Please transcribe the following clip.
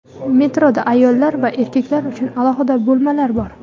Metroda ayollar va erkaklar uchun alohida bo‘lmalar bor.